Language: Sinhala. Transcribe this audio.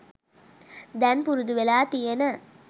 දැන් පුරුදු වෙලා තියෙන